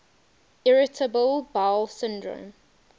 irritable bowel syndrome